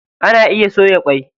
Ana iya soya ƙwai.